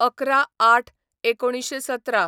११/०८/१९१७